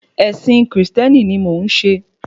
Ẹ̀sìn kìrìsìtẹ́nì ni mò ń ṣe